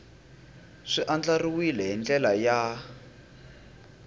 swi andlariwile hi ndlela ya